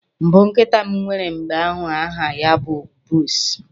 mbụ nkịta m nwere mgbe ahu aha ya bụ Bruce